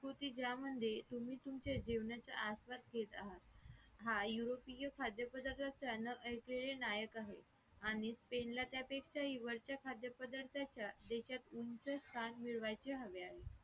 कृती ग्राम म्हणजे मी तुम्ही तुमच्या जीवनाच्या आस्वाद घेत आहात, हा युरोपीय खाद्यपदार्थाच्या अन्न न ऐकलेले नायक आहे आणि spain ला त्यापेक्षाही वरचा खाद्यपदार्थाच्या देशात उंच स्थान मिळवायचे हवे आहे